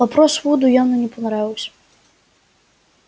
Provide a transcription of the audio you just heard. вопрос вуду явно не понравился